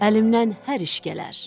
Əlimdən hər iş gələr.”